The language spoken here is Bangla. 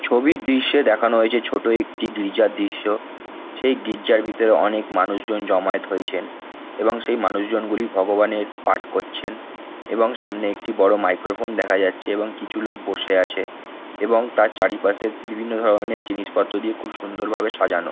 ছবির দৃশ্যে দেখানো হয়েছে ছোট একটি গির্জার দৃশ্য সেই গির্জার ভিতর অনেক মানুষজন জমায়েত হয়েছেন এবং সেই মানুষজনগুলি ভগবানের পাঠ করছেন এবং সামনে একটি বড় মাইক্রোফোন দেখা যাচ্ছে এবং কিছু লোক বসে আছে এবং তার চারিপাশে বিভিন্ন ধরনের জিনিসপত্র দিয়ে খুব সুন্দর ভাবে সাজানো।